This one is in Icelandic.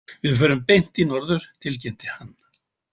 Við förum beint í norður, tilkynnti hann.